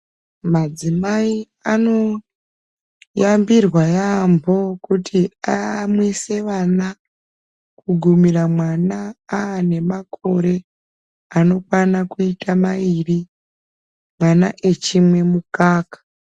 Madzimai anoyambirwa yambo kuti amwise vana kugumira mwana ane makore anokwana kuite maiiri mwana achimwe mukaka.